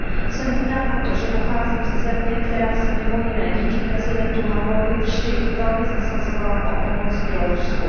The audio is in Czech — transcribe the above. Jsem hrdá na to, že pocházím ze země, která se mimo jiné díky prezidentu Havlovi vždy velmi zasazovala o pomoc Bělorusku.